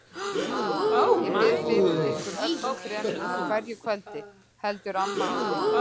Ég bið fyrir ykkur öllum þrem á hverju kvöldi, heldur amma áfram.